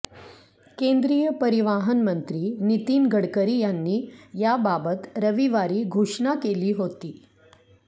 केंद्रीय परिवाहन मंत्री नितीन गडकरी यांनी याबाबत रविवारी घोषणा केली होती